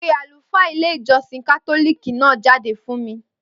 Pe àlùfáà ilé ìjósìn kátólìkì náà jáde fún mi